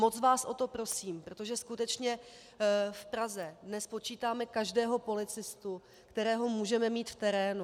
Moc vás o to prosím, protože skutečně v Praze dnes počítáme každého policistu, kterého můžeme mít v terénu.